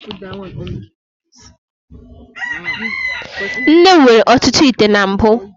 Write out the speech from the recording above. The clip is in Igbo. Nne m nwere ọtụtụ ite na mbụ.